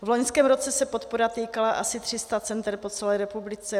V loňském roce se podpora týkala asi 300 center po celé republice.